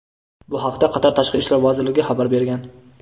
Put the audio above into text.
Bu haqda Qatar Tashqi ishlar vazirligi xabar bergan.